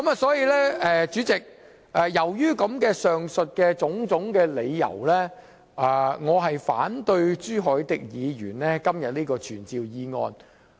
所以，主席，由於上述種種理由，我反對朱凱廸議員今天的傳召議案。